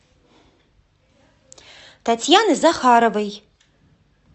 татьяны захаровой